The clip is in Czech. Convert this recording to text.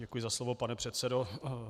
Děkuji za slovo, pane předsedo.